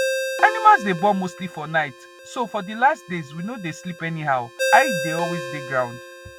animal day born mostly for nightso for the last days we no day sleep anyhow eye day always day ground